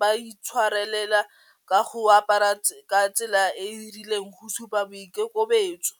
ba itshwarelela ka go apara ka tsela e e rileng go supa boikokobetso.